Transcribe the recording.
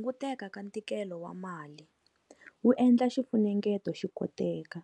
Hunguteka ka ntikelo wa mali wu endla xifunengeto xi koteka